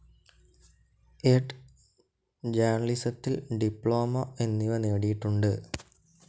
Ed., ജേർണലിസത്തിൽ diploma എന്നിവ നേടിയിട്ടുണ്ട്.